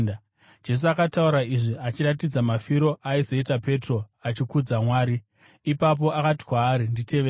Jesu akataura izvi achiratidza mafiro aizoita Petro achikudza Mwari. Ipapo akati kwaari, “Nditevere!”